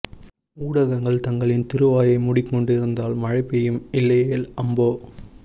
ஊடகங்கள் தங்களின் திரு வாயை மூடி கொண்டு இருந்தால் மழைபெய்யும் இல்லையேல் அம்போ